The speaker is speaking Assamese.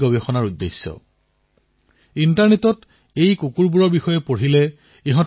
আপোনালোকে ইণ্টাৰনেটত এইসমূহৰ নাম বিচাৰি তথ্যসমূহ জানিব পাৰিব